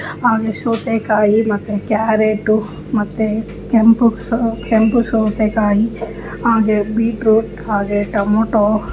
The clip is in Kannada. ಹಾಗೆ ಸೌತೆಕಾಯಿ ಮತ್ತೆ ಕ್ಯಾರೆಟ್ ಮತ್ತೆ ಕೆಂಪು ಸೌತೆಕಾಯಿ ಹಾಗೆ. ಬೀಟ್ರೂಟ್ ಹಾಗೆ ಟೊಮ್ಯಾಟೋ--